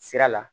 Sira la